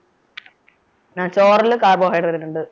ആഹ് ചോറില് carbohydrate ഉണ്ട്